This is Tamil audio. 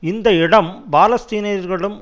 இந்த இடம் பாலஸ்தீனியர்களிடம்